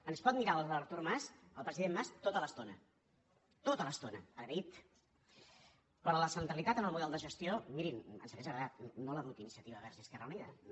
ens pot mirar artur mas el president mas tota l’estona tota l’estona agraït però la centralitat en el model de gestió mirin ens hauria agradat no l’ha dut inicia tiva verds esquerra unida no